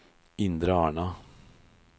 Indre Arna